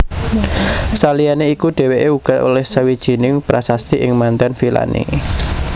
Saliyané iku dhèwèké uga olèh sawijining prasasti ing manten vilané